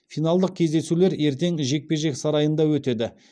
финалдық кездесулер ертең жекпе жек сарайында өтеді